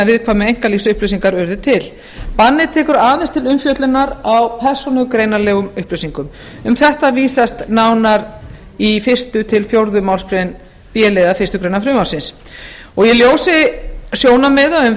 hinar viðkvæmu einkalífsupplýsingar urðu til bannið tekur aðeins til umfjöllunar á persónugreinanlegum upplýsingum um þetta vísast nánar í fyrsta til fjórðu málsgrein b liðar fyrstu greinar frumvarpinu í ljósi sjónarmiða um